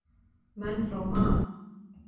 Menn frá Man.